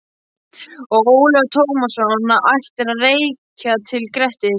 Og Ólafur Tómasson á ættir að rekja til Grettis.